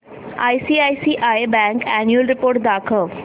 ICICI bank annual report दाखव